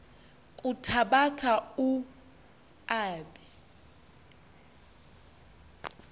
kuthabatha u aabe